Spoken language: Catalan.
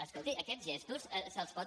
escolti aquests gestos se’ls pot